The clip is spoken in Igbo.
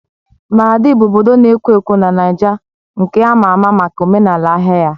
Maradi bụ obodo na-ekwo ekwo na Niger nke ama ama maka omenala ahịa ya.